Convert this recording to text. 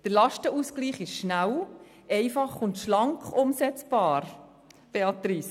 Der Lastenausgleich ist schnell, einfach und schlank umsetzbar, Grossrätin Stucki.